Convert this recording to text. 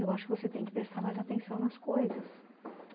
Eu acho que você tem que prestar mais atenção nas coisas.